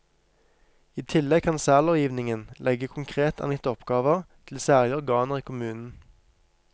I tillegg kan særlovgivningen legge konkret angitte oppgaver til særlige organer i kommunen.